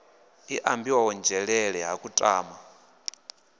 i ambiwaho nzhelele ha kutama